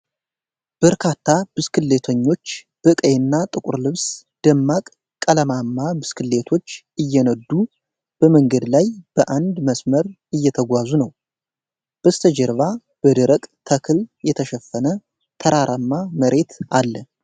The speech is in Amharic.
በርካታ ብስክሌተኞች በቀይና ጥቁር ልብስ ደማቅ ቀለማማ ብስክሌቶች እየነዱ በመንገድ ላይ በአንድ መስመር እየተጓዙ ነው። በስተጀርባ በደረቅ ተክል የተሸፈነ ተራራማ መሬት አለ።